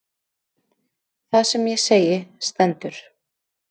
Það sem ég segi stendur.